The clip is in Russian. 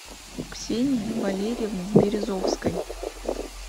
ксении валерьевны березовской